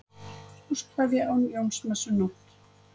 Húskveðja á Jónsmessunótt